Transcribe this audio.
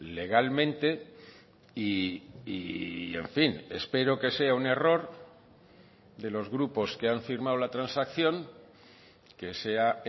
legalmente y en fin espero que sea un error de los grupos que han firmado la transacción que sea